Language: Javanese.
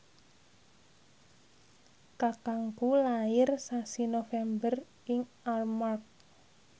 kakangku lair sasi November ing Armargh